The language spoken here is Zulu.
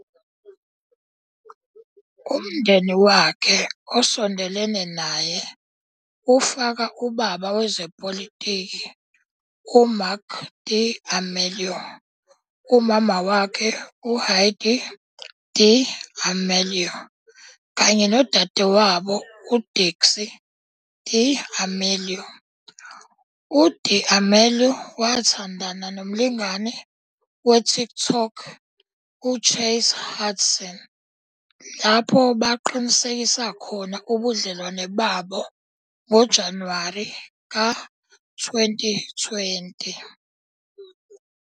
Umndeni wakhe osondelene naye ufaka ubaba wezepolitiki, uMarc D'Amelio, umama wakhe, uHeidi D'Amelio, kanye nodadewabo uDixie D'Amelio.. UD'Amelio wathandana nomlingani weTikTok uChase Hudson, lapho baqinisekisa khona ubudlelwano babo ngoJanuwari ka-2020.